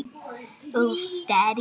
Næstum alveg svört.